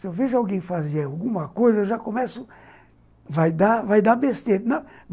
Se eu vejo alguém fazer alguma coisa, eu já começo... Vai dar vai dar besteira!